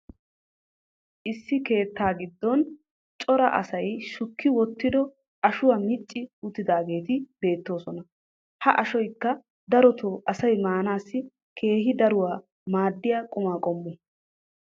issi keettaa giddon cora asay shukki wottido ashuwa micci uttidaageeti beetoosona. ha ashoykka dorotoo asay maanassi keehi daruwa maadiyaa qumaa qommo.